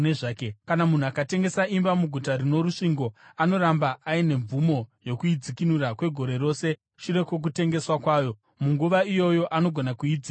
“ ‘Kana munhu akatengesa imba muguta rino rusvingo, anoramba aine mvumo yokuidzikinura kwegore rose shure kwokutengeswa kwayo. Munguva iyoyo anogona kuidzikinura.